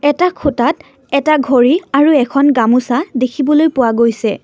এটা খুটাত এটা ঘড়ী আৰু এখন গামোচা দেখিবলৈ পোৱা গৈছে।